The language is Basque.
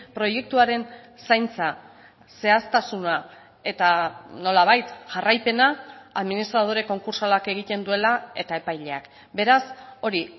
proiektuaren zaintza zehaztasuna eta nolabait jarraipena administradore konkurtsalak egiten duela eta epaileak beraz hori